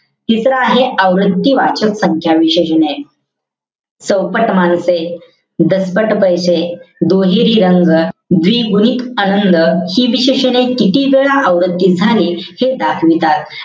तिसरं आहे, आवृत्ती वाचक संख्या विशेषण. चौपट माणसे. दसपट पैसे. दुहेरी रंग. द्विगुणित आनंद. हि विशेषणे किती वेळा आवृत्ती झाली हे दाखवितात.